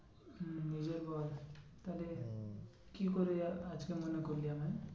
হম এবার বল তাহলে হম কি করে আজকে মনে করলি আমায়?